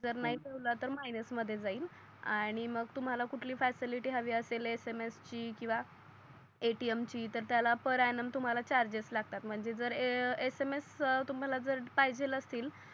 जर नाही ठेवल तर मायनस मध्ये जाईल आणि मग तुम्हाला कुठली फॅसिलिटी हवी असेल SMS ची किवा ATM ची तर त्याला फाहर यानम तुम्हाला चार्जेस लागतात म्हणजे जर SMS तुम्हाला जर पाहिजे असतील